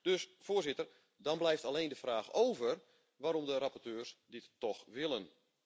Dus, voorzitter, dan blijft alleen de vraag over waarom de rapporteurs dit toch willen.